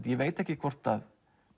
ég veit ekki hvort